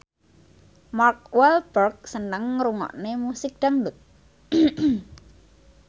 Mark Walberg seneng ngrungokne musik dangdut